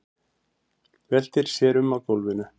Veltir sér um á gólfinu.